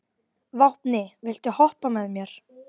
Vápni, viltu hoppa með mér?